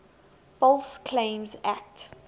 false claims act